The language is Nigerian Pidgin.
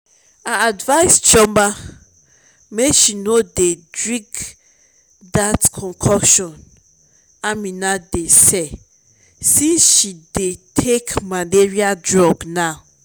i advise chioma make she no dey drink dat concoction amina dey sell since she dey take malaria drug now